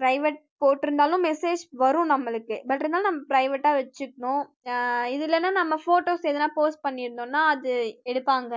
private போட்டிருந்தாலும் message வரும் நம்மளுக்கு but இருந்தாலும் நம்ம private அஹ் வச்சுக்கணும் அஹ் இது இல்லைன்னா நம்ம photos எதுனா post பண்ணியிருந்தோம்ன்னா அது எடுப்பாங்க